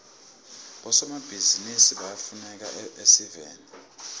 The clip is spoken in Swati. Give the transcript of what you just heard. bosomabhizinisi bayafuneka esiveni